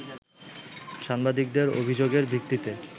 সাংবাদিকদের অভিযোগের ভিত্তিতে